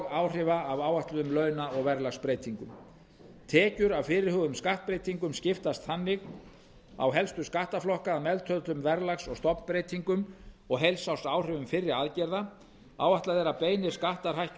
áhrifa af áætluðum launa og verðlagsbreytingum tekjur af fyrirhuguðum skattbreytingum skiptast þannig á helstu skattaflokka að meðtöldum verðlags og stofnbreytingum og heilsársáhrifum fyrri aðgerða áætlað er að beinir skattar hækki um